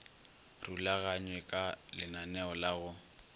rulaganywe ka lenaneo la go